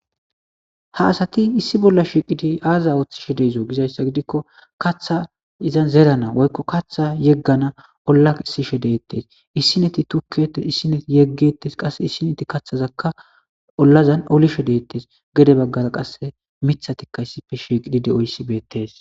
Ha asati issi bolla shiiqidi aaza ooththishe deezo gizayssa gidikko katha izan zerana woykko katha yeggana olla isishe deettes issi neti tukkietes issineti yeggettes qasse issi neti kathazakka ollazan olishe deettes gede baggara qasse mithatikka issife shiiqidi de'oyssi beettes.